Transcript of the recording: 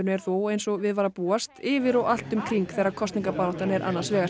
er þó eins og við var að búast yfir og allt um kring þegar kosningabaráttan er annars vegar